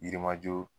Yirimajɔ